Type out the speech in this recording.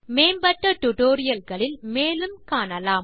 மேம்பட்ட டியூட்டோரியல் களில் மேலும் காணலாம்